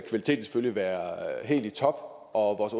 selvfølgelig være helt i top og